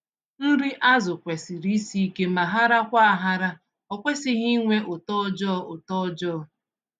Nri azụ kwesịrị isi ike ma harakwa-ahara- okwesịghị ịnwe ụtọ ọjọọ. ụtọ ọjọọ.